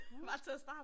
Mh